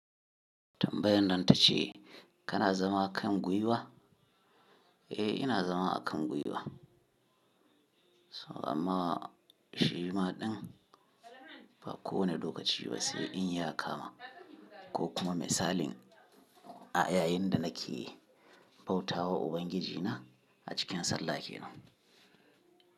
Tambayan nan ta ce kana zama kan gwiwa? Eh ina zama a kan gwiwa. Amma shi maɗin ba kowane lokaci ba sai in ya kama ko kuma misalin a yayin da nake bauta wa Ubangiji na a cikin sallah ke nan.